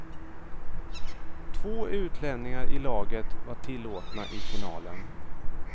Två utlänningar i laget var tillåtna i finalen.